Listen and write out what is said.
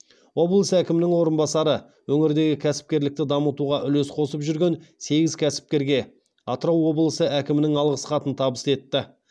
облыс әкімінің орынбасары өңірдегі кәсіпкерлікті дамытуға үлес қосып жүрген сегіз кәсіпкерге атырау облысы әкімінің алғыс хатын табыс етті